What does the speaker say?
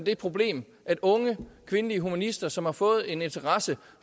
et problem at unge kvindelige humanister som har fået en interesse